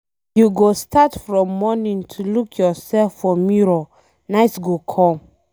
You go start from morning to look yourself for mirror night go come.